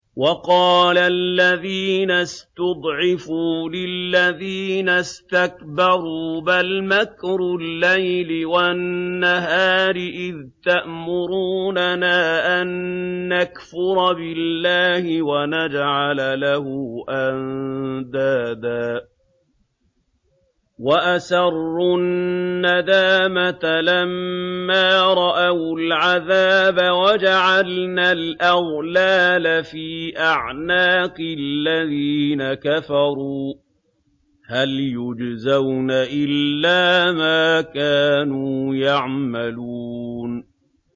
وَقَالَ الَّذِينَ اسْتُضْعِفُوا لِلَّذِينَ اسْتَكْبَرُوا بَلْ مَكْرُ اللَّيْلِ وَالنَّهَارِ إِذْ تَأْمُرُونَنَا أَن نَّكْفُرَ بِاللَّهِ وَنَجْعَلَ لَهُ أَندَادًا ۚ وَأَسَرُّوا النَّدَامَةَ لَمَّا رَأَوُا الْعَذَابَ وَجَعَلْنَا الْأَغْلَالَ فِي أَعْنَاقِ الَّذِينَ كَفَرُوا ۚ هَلْ يُجْزَوْنَ إِلَّا مَا كَانُوا يَعْمَلُونَ